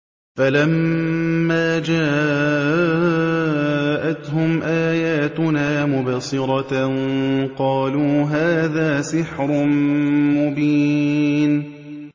فَلَمَّا جَاءَتْهُمْ آيَاتُنَا مُبْصِرَةً قَالُوا هَٰذَا سِحْرٌ مُّبِينٌ